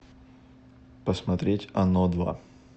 посмотреть оно два